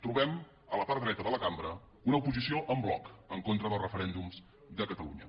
trobem a la part dreta de la cambra una oposició en bloc en contra dels referèndums de catalunya